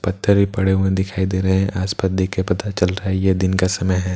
पत्थर ही पडे़ हुए दिखाई दे रहे हैं आसपास देख के पता चल रहा हैं ये दिन का समय हैं --